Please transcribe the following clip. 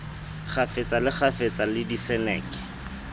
kgafetsa le kgafetsa le diseneke